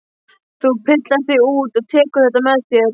Þú pillar þig út og tekur þetta með þér!